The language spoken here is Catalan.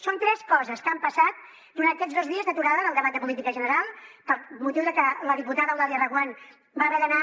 són tres coses que han passat durant aquests dos dies d’aturada del debat de política general per motiu de que la diputada eulàlia reguant va haver d’anar